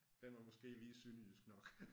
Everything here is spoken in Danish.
Den var måske lige sønderjysk nok